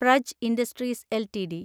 Praj industries LTD